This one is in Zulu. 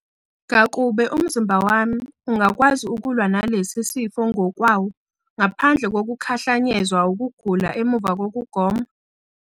Ngakube umzimba wami ungakwazi ukulwa nalesi sifo ngokwawo, ngaphandle kokukhahlanyezwa ukugula emuva kokugoma?